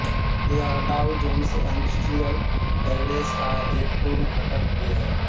यह Dow Jones industrial average का एक पूर्व घटक भी है